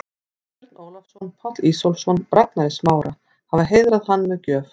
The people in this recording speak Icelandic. Björn Ólafsson, Páll Ísólfsson og Ragnar í Smára, hafa heiðrað hann með gjöf.